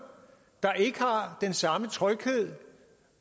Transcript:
der ikke har den samme tryghed